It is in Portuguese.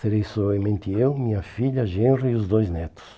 Serei somente eu, minha filha, Genro e os dois netos.